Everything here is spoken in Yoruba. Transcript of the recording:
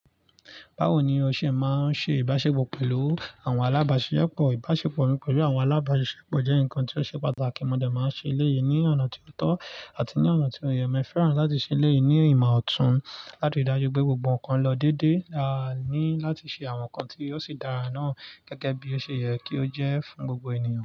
Báwo ni o ṣe máa ń ṣe ìbáṣepọ̀ pẹ̀lú àwọn alábàáṣisepọ̀? Ìbáṣepọ̀ mi pẹ̀lú àwọn alábàáṣisepọ̀ jẹ́ nǹkan tí ó ṣe pàtàkì. Mo dẹ̀ máa ń ṣe eléyi ní ọ̀nà tí ó tọ́ àti ní ọ̀nà tí ó yẹ. Mo fẹ́ràn láti ṣe ilé yìí ní ìmọ̀ ọ̀tún láti ri dájú pé gbogbo nǹkan lọ dédé. A ní láti ṣe àwọn nǹkan tí yóò sì dára náà gẹ́gẹ́ bí ó ṣe yẹ kí ó jẹ́ fún gbogbo ènìyàn.